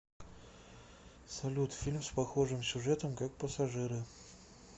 салют фильм с похожим сюжетом как пассажиры